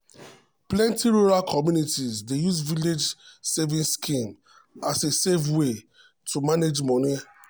plenty rural communities dey use village savings schemes as a safe way to manage money.